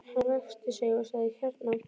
Hann ræskti sig og sagði: Hérna